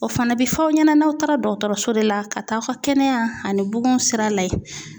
O fana bɛ fɔ aw ɲɛna n'aw taara dɔgɔtɔrɔso de la ka taa aw ka kɛnɛya ani bugun sira lajɛ .